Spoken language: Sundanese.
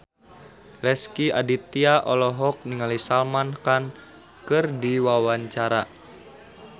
Rezky Aditya olohok ningali Salman Khan keur diwawancara